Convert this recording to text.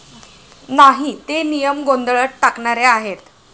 नाही. ते नियम गोंधळात टाकणारे आहेत.